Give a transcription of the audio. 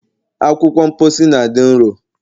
Akwụkwọ mposi na dị nro